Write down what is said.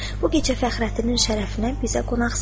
Bu gecə Fəxrəddinin şərəfinə bizə qonaqsan!